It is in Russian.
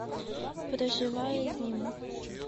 проживая зиму